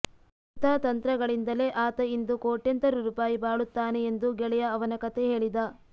ಇಂಥ ತಂತ್ರ ಗಳಿಂದಲೇ ಆತ ಇಂದು ಕೋಟ್ಯಂತರ ರೂಪಾಯಿ ಬಾಳುತ್ತಾನೆ ಎಂದು ಗೆಳೆಯ ಅವನ ಕಥೆ ಹೇಳಿದ